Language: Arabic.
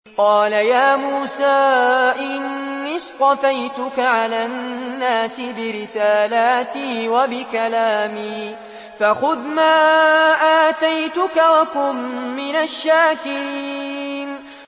قَالَ يَا مُوسَىٰ إِنِّي اصْطَفَيْتُكَ عَلَى النَّاسِ بِرِسَالَاتِي وَبِكَلَامِي فَخُذْ مَا آتَيْتُكَ وَكُن مِّنَ الشَّاكِرِينَ